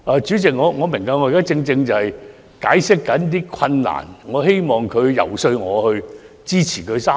主席，我明白，我現正解釋那些困難，我希望局長遊說我支持《條例草案》三讀。